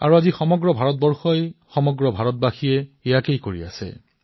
আৰু আজি সমগ্ৰ ভাৰতে প্ৰতিজন ভাৰতীয়ই এই কথাই কৈছে